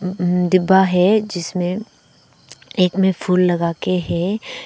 डिब्बा है जिसमें एक में फूल लगा के है।